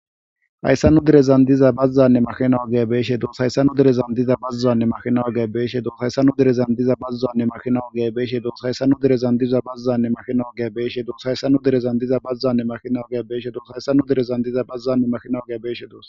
Hayssanu direzan diza bazzanne makhinawu ge beeshe dos haysanu derezan diza bazzaanne makhinawu ge beeshe doos haysanu derezan diza bazzaanne mahinawu ge beeshe dos haysanu direzan diza bazzanne mahinawu ge beeshe dos haysanu derezan diza bazzanne mahinawu ge beeshe dos haysanu direzan diza bazzanne makinaw gea beeshe dos.